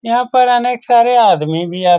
यहाँ पर अनेक सारे आदमी भी आ --